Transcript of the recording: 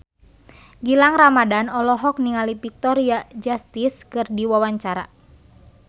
Gilang Ramadan olohok ningali Victoria Justice keur diwawancara